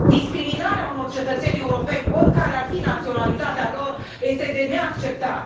Discriminarea unor cetățeni europeni, oricare ar fi naționalitatea lor, este de neacceptat.